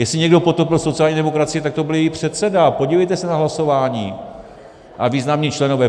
Jestli někdo potopil sociální demokracii, tak to byl její předseda - podívejte se na hlasování - a významní členové.